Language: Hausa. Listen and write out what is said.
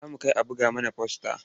Za mu kai a buga mana fasta.